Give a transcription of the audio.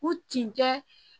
U tinjɛ